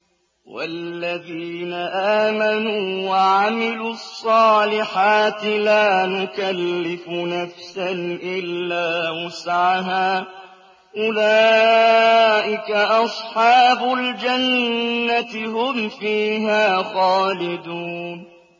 وَالَّذِينَ آمَنُوا وَعَمِلُوا الصَّالِحَاتِ لَا نُكَلِّفُ نَفْسًا إِلَّا وُسْعَهَا أُولَٰئِكَ أَصْحَابُ الْجَنَّةِ ۖ هُمْ فِيهَا خَالِدُونَ